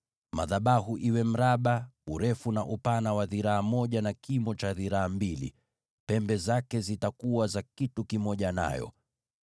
Madhabahu hayo yawe mraba, urefu na upana wake dhiraa moja, na kimo cha dhiraa mbili, nazo pembe zake zitakuwa kitu kimoja nayo.